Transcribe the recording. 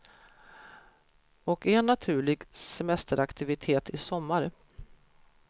Och en naturlig semesteraktivitet i sommar.